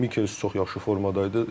Mikelis çox yaxşı formada idi.